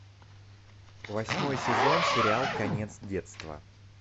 восьмой сезон сериал конец детства